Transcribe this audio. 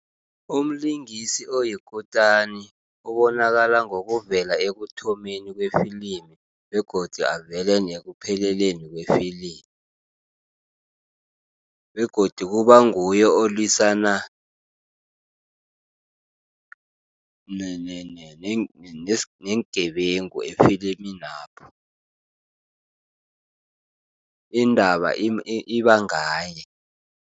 Umlingisi oyikutani ubonakala ngokuvela ekuthomeni kwefilimu, begodu avele nekupheleleni kwefilimu, begodu kubanguye olwisana neengebengu efiliminapho, indaba ibangaye.